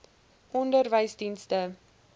onderwysdienste